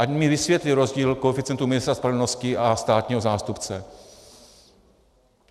Ať mi vysvětlí rozdíl koeficientu ministra spravedlnosti a státního zástupce.